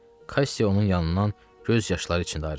Kassi onun yanından göz yaşları içində ayrıldı.